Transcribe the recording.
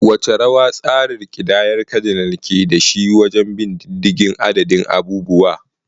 Wace rawa tsarin kidayar kadinal ke da shi wajen bin diddigin adadin abubuwa?